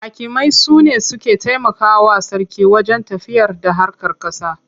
Hakimai su ne suke taimakawa sarki wajen tafiyarda harkar ƙasa.